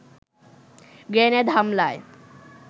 grenade হামলায়